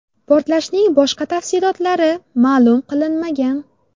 Portlashning boshqa tafsilotlari ma’lum qilinmagan.